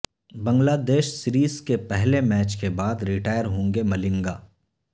بنگلہ دیش سیریز کے پہلے میچ کے بعد ریٹائر ہوں گے ملنگا